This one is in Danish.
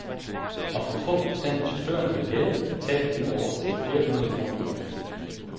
Og for få procent af chaufførerne vil gælde, at tabet ikke overstiger flere hundrede kroner månedligt.